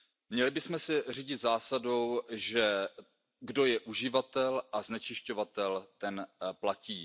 Měli bychom se řídit zásadou, že kdo je uživatel a znečišťovatel, ten platí.